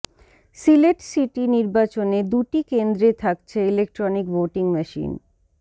Sylhet city নির্বাচনে দুটি কেন্দ্রে থাকছে ইলেকট্রনিক ভোটিং মেশিন